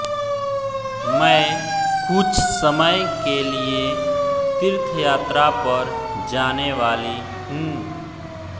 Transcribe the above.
मैं कुछ समय के लिए तीर्थयात्रा पर जाने वाली हूँ